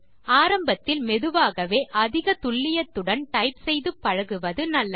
ஆரம்பத்தில் மெதுவாகவே அதிக துல்லியத்துடன் டைப் செய்து பழகுவது நல்லது